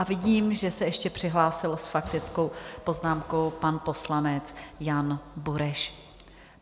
A vidím, že se ještě přihlásil s faktickou poznámkou pan poslanec Jan Bureš.